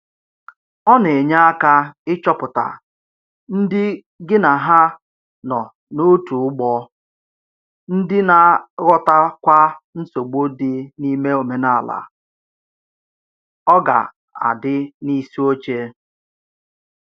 Ọ na enye aka ịchọpụta ndị gị na ha nọ n'otu ụgbọ, ndị na-aghọtakwa nsogbu dị n’ime omenala “oga di n'isi oche”